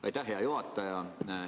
Aitäh, hea juhataja!